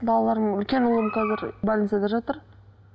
балаларым үлкен ұлым қазір больницада жатыр